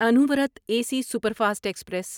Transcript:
Anuvrat A C super fast express